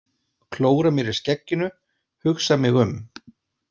Klóra mér í skegginu, hugsa mig um.